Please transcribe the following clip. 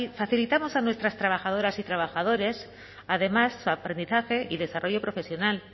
facilitamos a nuestras trabajadoras y trabajadores además su aprendizaje y desarrollo profesional